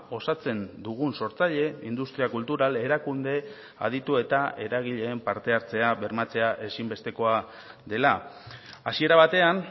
osatzen dugun sortzaile industria kultural erakunde aditu eta eragileen parte hartzea bermatzea ezinbestekoa dela hasiera batean